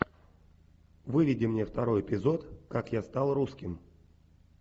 выведи мне второй эпизод как я стал русским